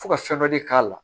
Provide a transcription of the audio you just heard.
Fo ka fɛn dɔ de k'a la